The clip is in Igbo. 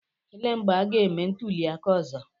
Elee mgbe a ga-eme ntuliaka ọzọ?